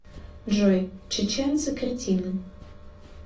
джой чеченцы кретины